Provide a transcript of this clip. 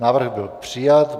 Návrh byl přijat.